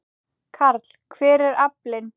Karl: Hver er aflinn?